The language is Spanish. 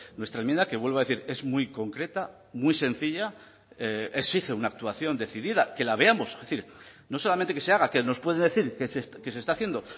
nuestra enmienda que vuelvo a decir es muy concreta muy sencilla exige una actuación decidida que la veamos es decir no solamente que se haga que nos puede decir que se está haciendo o